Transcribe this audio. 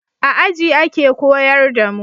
A aji ake koyar da mu